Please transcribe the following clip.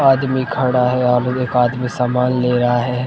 आदमी खड़ा है यहां पे एक आदमी सामान ले रहा है।